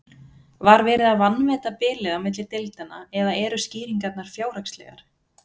Var verið að vanmeta bilið á milli deildanna eða eru skýringarnar fjárhagslegar?